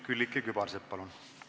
Külliki Kübarsepp, palun!